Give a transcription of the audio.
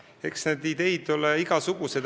Eks neid ideid ole igasuguseid.